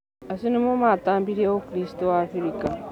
Acio nĩo matambirie ũkristo Afrika